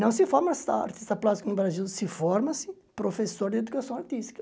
Não se forma artista artista plástico no Brasil, se forma-se professor de educação artística.